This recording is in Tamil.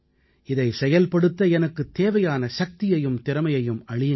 இதை செயல்படுத்த எனக்குத் தேவையான சக்தியையும் திறமையையும் அளியுங்கள்